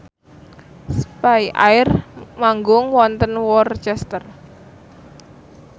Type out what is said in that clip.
spyair manggung wonten Worcester